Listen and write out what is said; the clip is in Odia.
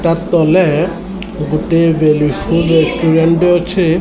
ତା ତଲେ ଗୁଟେ ବେଲୁ ରେଷ୍ଟୁରାଣ୍ଟେ ଅଛେ।